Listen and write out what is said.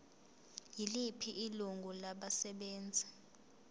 yiliphi ilungu labasebenzi